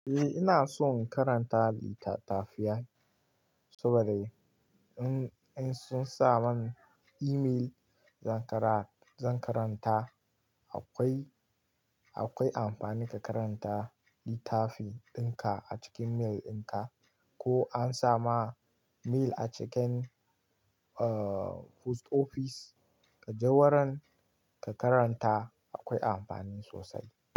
Eh, ina son karanta littattafai saboda in sun sa man email zan karanta. Akwai amfani ka karanta littafi a cikin mail din ka ko an sa ma mail a cikin post office ka je wurin ka karanta akwai amfani sosai.